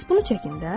Bəs bunu çəkin də.